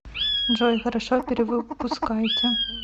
джой хорошо перевыпускайте